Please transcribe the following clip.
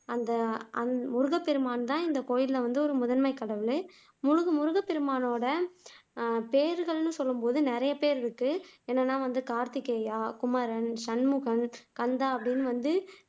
அந்த முருகப்பெருமான்தான் இந்த கோவில்ல வந்து முதன்மை கடவுள் முருகப்பெருமானோட பேர்கள்னு சொல்லும்போது நிறைய பேர் இருக்கு என்னன்னா வந்து கார்த்திகேயா. குமரன், சண்முகன், கந்தா அப்படின்னு வந்து